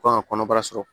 Kan ka kɔnɔbara sɔrɔ